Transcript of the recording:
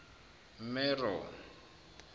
mero